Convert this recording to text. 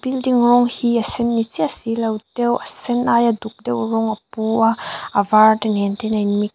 building rawng hi a sen ni chiah si lo deuh a sen aia duk deuh rawng a pu a a var te nen ten a in mix .